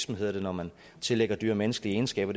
hedder når man tillægger dyr menneskelige egenskaber